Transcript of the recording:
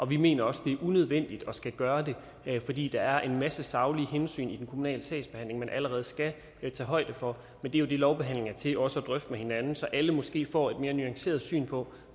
vi mener også det er unødvendigt at skulle gøre det fordi der er en masse saglige hensyn i den kommunale sagsbehandling man allerede skal tage højde for men det er jo det lovbehandling er til også at drøfte med hinanden så alle måske får et mere nuanceret syn på